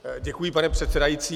Děkuji, pane předsedající.